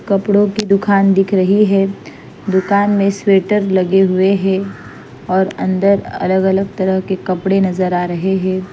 कपड़ों की दुकान दिख रही है दुकान में स्वेटर लगे हुए हैं और अन्दर अलग अलग तरह के कपड़े नज़र आ रहे हैं।